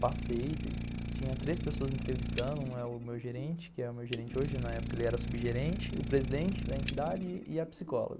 Passei, tinha três pessoas entrevistando, um é o meu gerente, que é o meu gerente hoje, na época ele era subgerente, o presidente da entidade e a psicóloga.